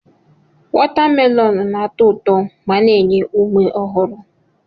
Watamelonụ na-atọ ụtọ ma na-enye ume ọhụrụ.